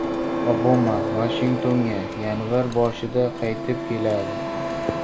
Obama Vashingtonga yanvar boshida qaytib keladi.